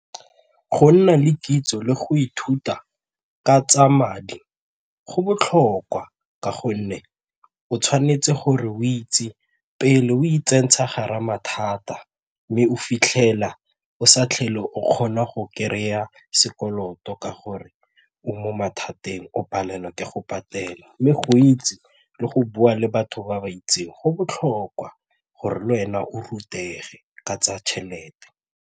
Go nna le kitso le go ithuta ka tsa madi go botlhokwa ka gonne o tshwanetse gore o itse pele o itsentsha gare ga mathata mme o fitlhela o sa tlhole o kgona go kry-a sekoloto ka gore o mo mathateng o palelwa ke go patela le go itse le go bua le batho ba ba itseng go botlhokwa gore le wena o rutege ka tsa tšhelete.